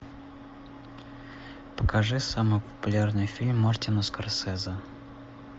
покажи самый популярный фильм мартина скорсезе